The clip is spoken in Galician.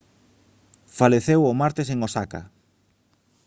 faleceu o martes en osaka